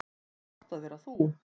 Er gott að vera þú?